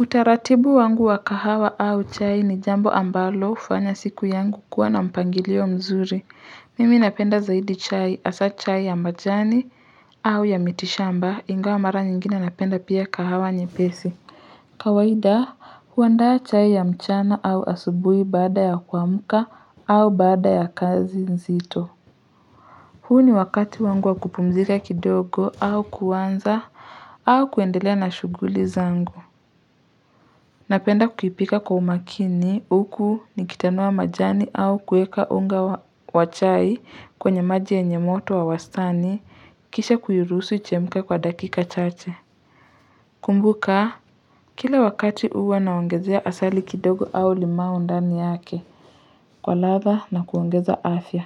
Utaratibu wangu wa kahawa au chai ni jambo ambalo hufanya siku yangu kuwa na mpangilio mzuri mimi napenda zaidi chai hasa, chai ya majani au ya mitishamba inga wa mara nyingine napenda pia kahawa nye pesi kawaida huandaa chai ya mchana au asubui baada ya kuamuka au baada ya kazi nzito huu ni wakati wangu wa kupumzika kidogo au kuwanza au kuendelea na shuguli zangu Napenda kuhipika kwa umakini huku nikitanua majani au kueka unga wachai kwenye maji ya nyemoto wa wastani kisha kuyurusu ichemka kwa dakika chache. Kumbuka, kila wakati uwa naongezea asali kidogo au lima undani yake, kwa latha na kuongeza afya.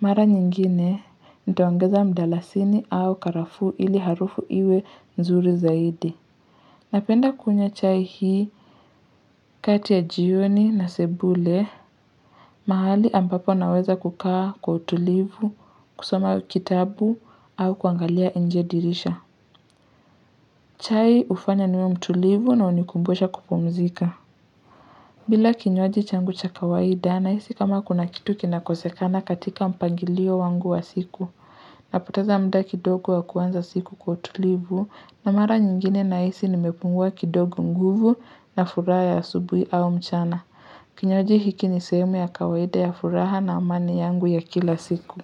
Mara nyingine, nitawongeza mdalasini au karafu ili harufu iwe nzuri zaidi. Napenda kunye chai hii kati ya jioni na sebule mahali ambapo naweza kukaa kwa utulivu, kusoma kitabu au kuangalia injedirisha. Chai ufanya niwe mtulivu na unikumbosha kupomzika. Bila kinyoaji changu cha kawaida na isi kama kuna kitu kinakosekana katika mpangilio wangu wa siku. Napoteza mda kidogo wakuanza siku kwa tulivu na mara nyingine na isi nimepungua kidogo nguvu na furaha ya subwi au mchana. Kinyoji hiki nisemu ya kawede ya furaha na amani yangu ya kila siku.